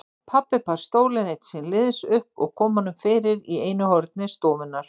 Pabbi bar stólinn einn síns liðs upp og kom honum fyrir í einu horni stofunnar.